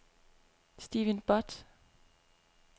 Steven Butt